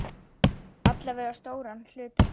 Alla vega stóran hluta þeirra.